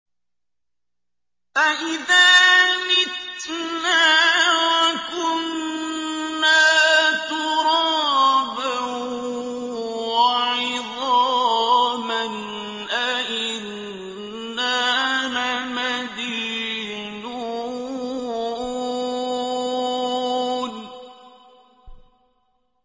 أَإِذَا مِتْنَا وَكُنَّا تُرَابًا وَعِظَامًا أَإِنَّا لَمَدِينُونَ